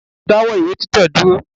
Dáwọ́ ìwé títẹ̀ dúró